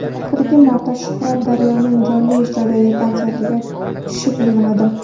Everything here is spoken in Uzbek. Oxirgi marta Shuhrat Daryoning jonli ijrodagi konsertiga tushib yig‘ladim.